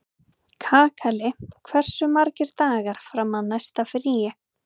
Kakali, hversu margir dagar fram að næsta fríi?